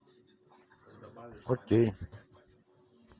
окей